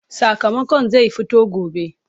Sakamakon zai fito gobe.